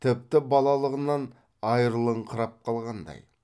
тіпті балалығынан айрылыңқырап қалғандай